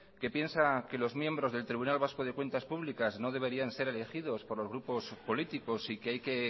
que piensa que los miembros del tribunal vasco de cuentas públicas no deberían ser elegidos por los grupos políticos y que hay que